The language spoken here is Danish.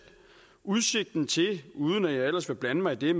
udsigten til uden at jeg ellers vil blande mig i